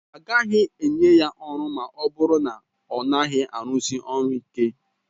A gaghị enye ya ọrụ ma ọ bụrụ na ọ naghị arụsi ọrụ ịke